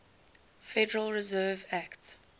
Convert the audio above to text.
federal reserve act